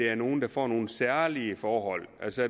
er nogle der får nogle særlige forhold altså